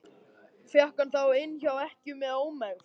Fékk hann þá inni hjá ekkju með ómegð.